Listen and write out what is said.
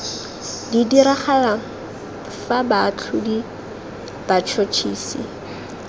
tla diragala fa baatlhodi batšhotšhisi